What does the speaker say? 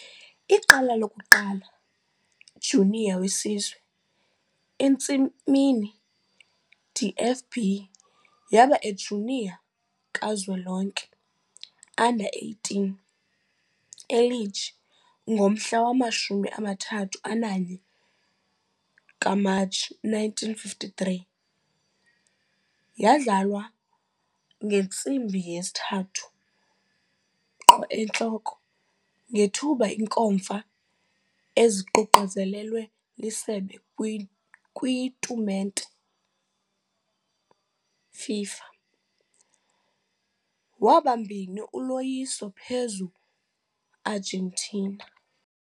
Iqela lokuqala junior wesizwe entsimini DFB yaba A-junior kazwelonke, U-18, e Liege ngomhla wama-31 Matshi 1953 - yadlalwa ngo-3 - ngethuba inkomfa eziququzelelwe liSebe kwitumente FIFA - waba 2 uloyiso phezu Argentina.